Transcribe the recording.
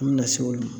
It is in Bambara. An bɛ na se o ma